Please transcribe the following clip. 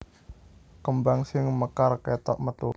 Kembang sing mekar kétok metu